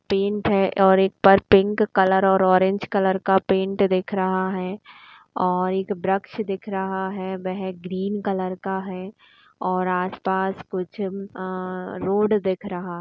Paint है और एक पर पिंक कलर और ऑरेंज कलर का पेंट दिख रहा है और एक बरक्ष दिख रहा है। वह ग्रीन कलर का है और आस पास कुछ आ रोड दिख रहा।